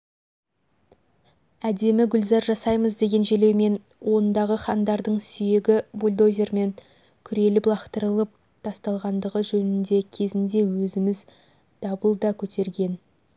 әдемі гүлзар жасаймыз деген желеумен ондағы хандардың сүйегі бульдозермен күреліп лақтырылып тасталғандығы жөнінде кезінде өзіміз дабыл да көтерге